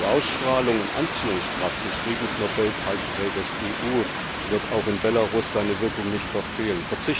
Die Ausstrahlung und Anziehungskraft des Friedensnobelpreisträgers EU wird auch in Belarus seine Wirkung nicht verfehlen.